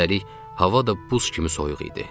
Üstəlik, hava da buz kimi soyuq idi.